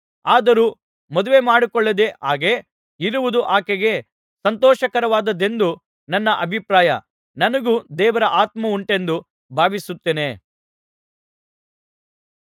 ಆದರೂ ಮದುವೆಮಾಡಿಕೊಳ್ಳದೆ ಹಾಗೆ ಇರುವುದು ಆಕೆಗೆ ಸಂತೋಷಕರವಾದದ್ದೆಂದು ನನ್ನ ಅಭಿಪ್ರಾಯ ನನಗೂ ದೇವರ ಆತ್ಮವುಂಟೆಂದು ಭಾವಿಸುತ್ತೇನೆ